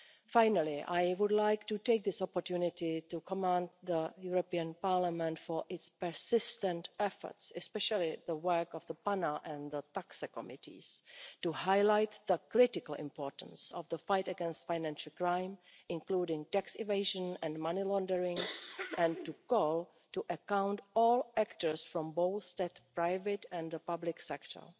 Finally, I would like to take this opportunity to commend Parliament for its persistent efforts, especially the work of the PANA and TAXE committees, to highlight the critical importance of the fight against financial crime, including tax evasion and money laundering, and to call to account all actors from both the private and the public sector.